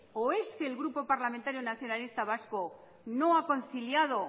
o es que el grupo parlamentario nacionalista vasco no ha conciliado